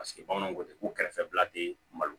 Paseke bamananw ko ten ko kɛrɛfɛla tɛ malo